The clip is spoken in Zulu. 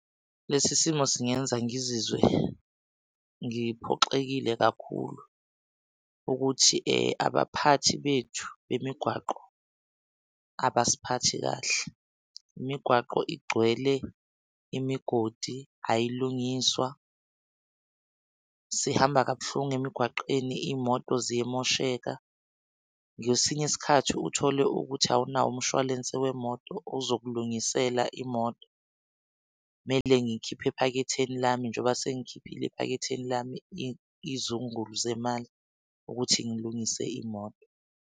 Lesi simo singenza ngizizwe ngiphoxekile kakhulu ukuthi abaphathi bethu bemigwaqo abasiphathi kahle imigwaqo igcwele imigodi. Ayalungiswa sihamba kabuhlungu emgwaqweni iy'moto ziyamosheka ngesinye isikhathi uthole ukuthi awunawo umshwalense wemoto ozokulungisela imoto. Kumele ngikhiphe ephaketheni lami njengoba sengikhiphile ephaketheni lami izungulu zemali ukuthi ngilungise imoto